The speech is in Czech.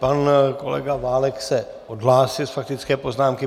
Pan kolega Válek se odhlásil z faktické poznámky.